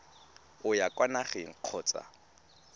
o ya kwa nageng kgotsa